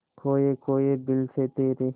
खोए खोए दिल से तेरे